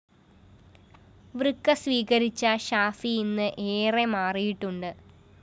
വൃക്ക സ്വീകരിച്ച ഷാഫി ഇന്ന് ഏറെ മാറിയിട്ടുണ്ട്